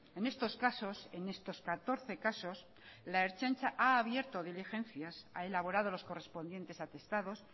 en estos casos en estos catorce casos la ertzaintza ha abierto diligencias ha elaborado los correspondientes atestados